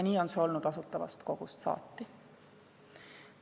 Nii on see olnud Asutavast Kogust saati.